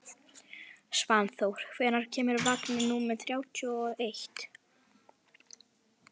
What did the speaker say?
Svanþór, hvenær kemur vagn númer þrjátíu og eitt?